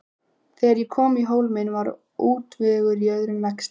Þegar ég kom í Hólminn var útvegur í örum vexti.